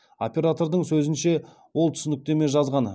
оператордың сөзінше ол түсініктеме жазған